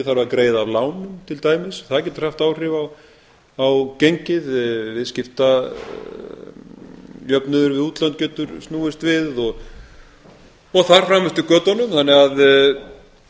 að greiða af lánum til dæmis það getur haft áhrif á gengið viðskiptajöfnuður við útlönd getur snúist við og þar fram eftir götunum þannig að